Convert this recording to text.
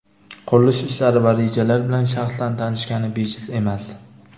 qurilish ishlari va rejalar bilan shaxsan tanishgani bejiz emas.